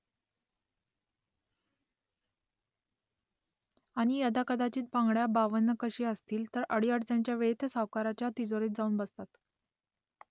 आणि यदाकदाचित बांगड्या बावनकशी असतील , तर अडीअडचणीच्या वेळी त्या सावकाराच्या तिजोरीत जाऊन बसतात